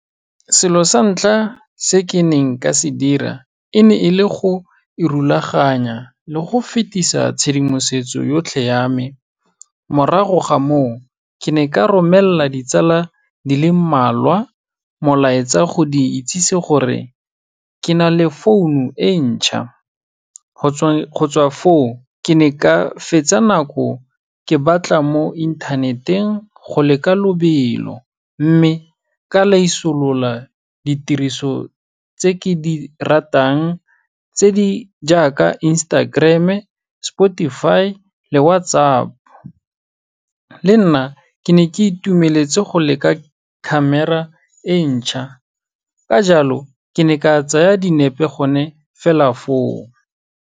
Selo sa ntlha se ke neng ka se dira, e ne e le go irulaganya le go fetisa tshedimosetso yotlhe ya me, morago ga moo ke ne ka romelela ditsala di le mmalwa molaetsa go di itsisi gore ke na le founu e ntšha, go tsweng foo, ke ne ka fetsa nako ke batla mo internet-eng go leka lobelo, mme ka laisolola ditiriso tse ke di ratang tse di jaaka Instagram, Spotify le WhatsApp. Le nna, ke ne ka itumeletse go leka camera e ntšha, ka jalo ke ne ka tsaya dinepe gone fela foo.